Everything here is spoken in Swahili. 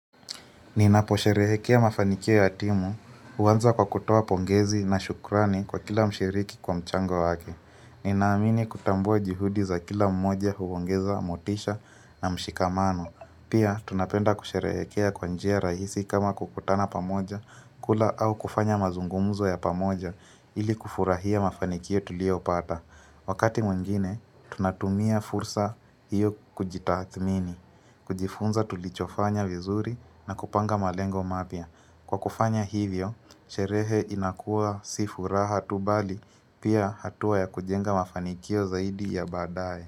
Ninaposherehekea mafanikio ya timu, huanza kwa kutowa pongezi na shukrani kwa kila mshiriki kwa mchango wake. Ninaamini kutambua juhudi za kila mmoja huongeza, motisha na mshikamano. Pia, tunapenda kusherehekea kwa njia rahisi kama kukutana pamoja, kula au kufanya mazungumuzo ya pamoja ili kufurahia mafanikio tuliopata. Wakati mwengine, tunatumia fursa hiyo kujitathmini, kujifunza tulichofanya vizuri na kupanga malengo mapya. Kwa kufanya hivyo, sherehe inakua si furaha tu bali, pia hatua ya kujenga mafanikio zaidi ya badae.